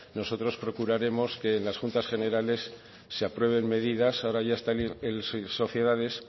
nosotros procuraremos que las juntas generales se aprueben medidas ahora ya está el sociedades